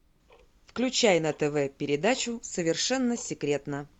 включай на тв передачу совершенно секретно